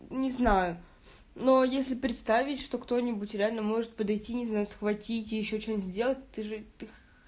не знаю но если представить что кто-нибудь реально может подойти не знаю схватить и ещё что-нибудь сделать ты же их